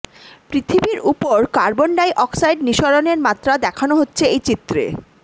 পৃথিবীর উপর carbon dioxide নিঃসরণের মাত্রা দেখানো হচ্ছে এই চিত্রে